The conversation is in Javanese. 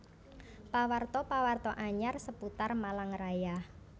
Pawarta pawarta anyar seputar Malang Raya